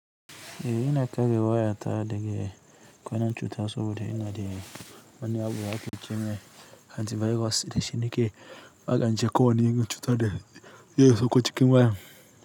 Eh ina kare waya ta dege kwanan chuta saboda ina de wani abu da ake cheme antivirus de shinike akanche ko wani irin chuta da zai sakko chikin waya.